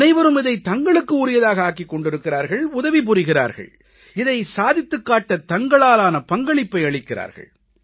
அனைவரும் இதை தங்களுக்கு உரியதாக ஆக்கிக் கொண்டிருக்கிறார்கள் உதவி புரிகிறார்கள் இதை சாதித்துக் காட்ட தங்களாலான பங்களிப்பை அளிக்கிறார்கள்